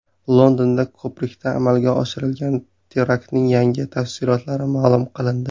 Londonda ko‘prikda amalga oshirilgan teraktning yangi tafsilotlari ma’lum qilindi .